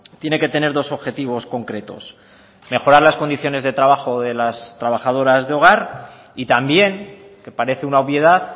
tiene que tener dos objetivos concretos mejorar las condiciones de trabajo de las trabajadoras de hogar y también que parece una obviedad